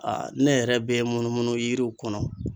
Aa ne yɛrɛ be munumunu yiriw kɔnɔ